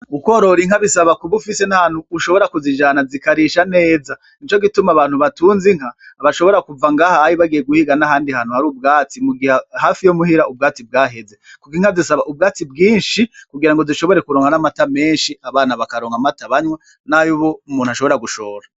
Ukorora inka bisaba ube ufise n'ahantu ushobora kuzijana zikarisha neza nico gituma abantu batunze inka bashobora kuva ngaha anye bagiye guhiga n'ahandi hari ubwatsi mugihe ubwatsi bwo muhira bwaheze kuko inka zisaba ubwatsi bwishi kugirangi zishobore kuronka n'amata meshi abana bakaronka amata banwa n'ayumuntu ashobora gushora.